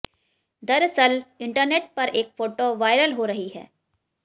दरअसल इंटरनेट पर एक फोटो वायरल हो रही है